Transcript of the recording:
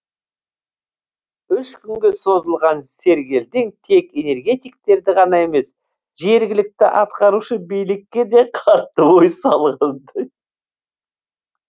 үш күнге созылған сергелдең тек энергетиктерді ғана емес жергілікті атқарушы билікке де қатты ой салғандай